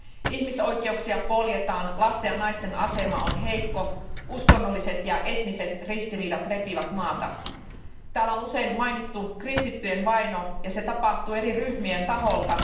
Ihmisoikeuksia poljetaan, lasten ja naisten asema on heikko, uskonnolliset ja etniset ristiriidat repivät maata. Täällä on usein mainittu kristittyjen vaino ja se tapahtuu eri ryhmien taholta.